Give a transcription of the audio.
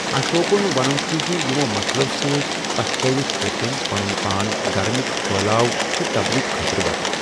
اشوکُن وَنُن چھُ زِ یِمو مسلو سۭتۍ پچھتاوِتھ کوٚر تٔمۍ پنُن پانۍ دھرمٕک پھلٲؤ تہٕ تبلیغ خٲطرٕ وقف۔